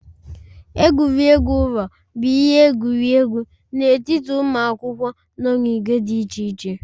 Egwuregwu ụlọ bụ ihe egwuregwu n'etiti ụmụ akwụkwọ nọ n'ìgwè dị iche iche